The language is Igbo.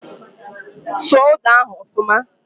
Sụọ ụda ahụ ọfuma!